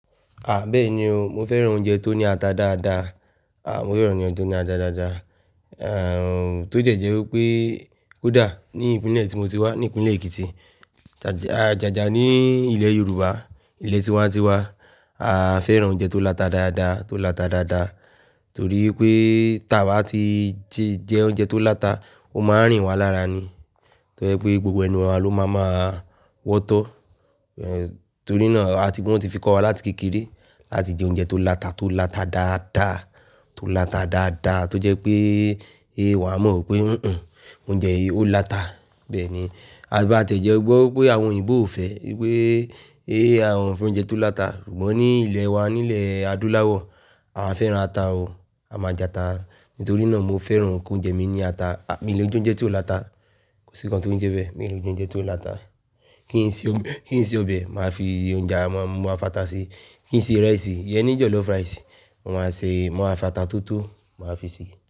À báì ni o, mo fẹ́ràn oúnjẹ tó ní ata dáadáa. À mo fẹ́ràn oúnjẹ tó ní ata dáadáa. Ehn, tójẹ̀jẹ̀ wípé ó dà ní ìpínlẹ̀ tí mo ti wá, ní ìpínlẹ̀ Èkìtì. Ajàjà ní ilẹ̀ Yorùbá, ilẹ̀ tí wá ti wá, a fẹ́ràn oúnjẹ tó láta dáadáa, tó láta dáadáa. Torí pé tàaba tí jẹ oúnjẹ tó láta, ó máa rìn wá lára ni. Torí pé gbogbo ẹnu wa ló máa máa wọ́tọ́. Torí náà a ti wọn ti fi kọ́ wa láti kékeré láti jẹ oúnjẹ tó láta, tó láta dáadáa, tó láta dáadáa. Tójẹ́ pé è wá mọ̀ pé, "hín hín oúnjẹ yìí ó láta." Bẹ́ẹ̀ ni. A tì bá ti jẹ́ gbọ́ pé àwọn òyìnbó ò fẹ́, wípé è àwọn ò fẹ́ oúnjẹ tó láta. Ṣùgbọ́n ní ilẹ̀ wa nílẹ̀ Adúláwọ̀, a fẹ́ran ata o, a máa jẹ ata. Nítorí náà mo fẹ́ran kí oúnjẹ mi ní ata. Mí lè jẹ oúnjẹ tí ò láta, kò sí nkan tó ń jẹ bẹ́. Mi ò lè jẹ oúnjẹ tí ò láta. Kí n sì, kí n sì ọbẹ̀, màá fi oúnjẹ, màá fi ata sí i. Kí n sì ìrẹsì, yẹn ni jọ̀lọ́fù ràísì, màá se, màá a fi ata toto, màá fi sí i.